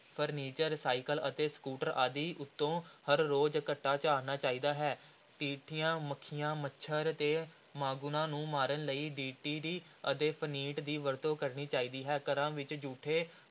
Furniture cycle ਅਤੇ scooter ਆਦਿ ਉੱਤੋਂ ਹਰ ਰੋਜ਼ ਘੱਟਾ ਝਾੜਨਾ ਚਾਹੀਦਾ ਹੈ, ਟਿੱਡੀਆਂ, ਮੱਖੀਆਂ, ਮੱਛਰ ਤੇ ਮਾਂਗਣੂਆਂ ਨੂੰ ਮਾਰਨ ਲਈ DDT ਅਤੇ ਫਨਿੱਟ ਦੀ ਵਰਤੋਂ ਕਰਨੀ ਚਾਹੀਦੀ ਹੈ, ਘਰਾਂ ਵਿੱਚ ਜੂਠੇ